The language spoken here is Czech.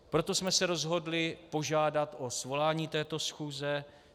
Proto jsme se rozhodli požádat o svolání této schůze.